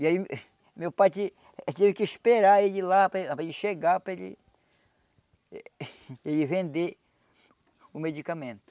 E aí meu pai te teve que esperar ele ir lá para ele chegar para ele... ele vender o medicamento.